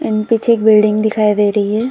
And पीछे एक building दिखाई दे रही है।